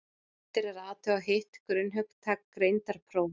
eftir er að athuga hitt grunnhugtak greindarprófa